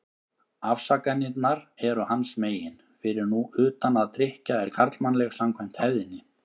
Afsakanirnar eru hans megin, fyrir nú utan að drykkja er karlmannleg, samkvæmt hefðinni.